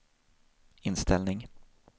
inställning